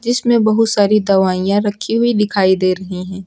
जिसमे बहुत सारी दवाइयां रखी हुई दिखाई दे रही है।